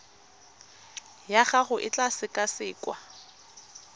ya gago e tla sekasekwa